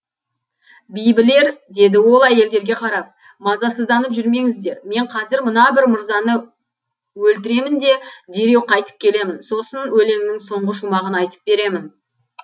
бибілер деді ол әйелдерге қарап мазасызданып жүрмеңіздер мен қазір мына бір мырзаны өлтіремін де дереу қайтып келемін сосын өлеңнің соңғы шумағын айтып беремін